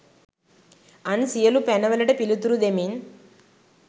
අන් සියලු පැන වලට පිළිතුරු දෙමින්